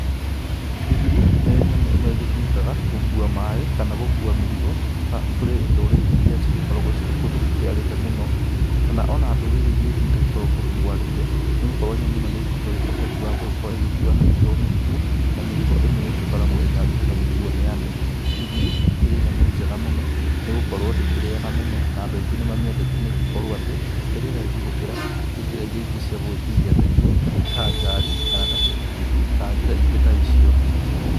Ndigiri nĩ nyamũ ĩmwe ĩgĩtũmĩkaga gũkua maaĩ kana gũkua mĩrigo kũrĩ ndũrĩrĩ iria cigĩkoragwo cirĩ kũndũ gũkĩarĩte mũno, kana o na ndũrĩrĩ iria ingĩ itagĩkoragwo kũndũ kwarĩte nĩ gũkorwo nyamũ ĩno nĩ ĩkĩ ũhoti wa gũgĩkorwo ĩgĩkua mĩrigo mĩritũ, na mĩrigo ĩmwe ĩgĩkoragwo ĩtangĩhota gũkuo nĩ andũ. Ndigiri ĩkĩrĩ nyamũ njega mũno nĩ gũkorwo ndĩriaga mũno, na andũ aingĩ nĩ mamĩendeta nĩ gũkorwo atĩ ĩrĩ raithi gũkĩra njĩra ingĩ cia gũgĩkuithia mĩrigo ta ngari, kana ta kibikibi, kana njĩra ingĩ ta icio.